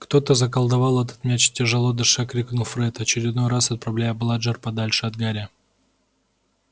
кто-то заколдовал этот мяч тяжело дыша крикнул фред очередной раз отправляя бладжер подальше от гарри